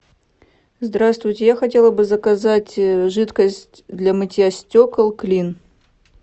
здравствуйте я хотела бы заказать жидкость для мытья стекол клин